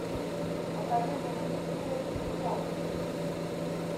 покажи мне на телевизоре психологи